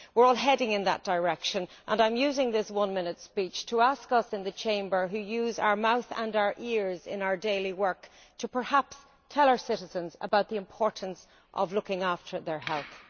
We are all heading in that direction, and I am using this one minute speech to ask those of us in this House who use our mouth and our ears in our daily work, to perhaps tell our citizens about the importance of looking after their health.